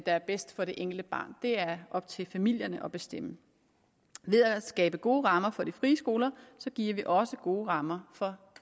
er bedst for det enkelte barn det er op til familierne at bestemme ved at skabe gode rammer for de frie skoler giver vi også gode rammer for